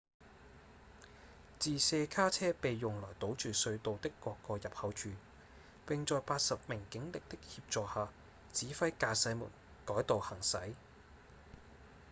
自卸卡車被用來堵住隧道的各個入口處並在80名警力的協助下指揮駕駛們改道行駛